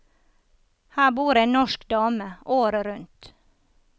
Her bor en norsk dame året rundt.